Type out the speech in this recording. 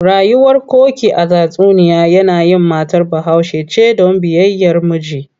Rayuwar Koki a tatsuniya yanayin matar Bahaushe ce don biyayyar miji.